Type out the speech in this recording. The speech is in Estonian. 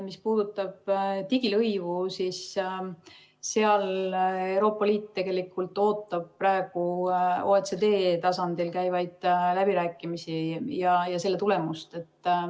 Mis puudutab digilõivu, siis Euroopa Liit ootab praegu OECD tasandil käivate läbirääkimiste tulemust.